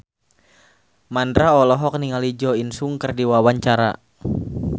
Mandra olohok ningali Jo In Sung keur diwawancara